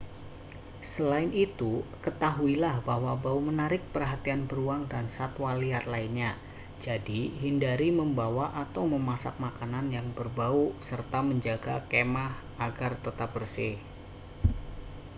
selain itu ketahuilah bahwa bau menarik perhatian beruang dan satwa liar lainnya jadi hindari membawa atau memasak makanan yang berbau serta menjaga kemah agar tetap bersih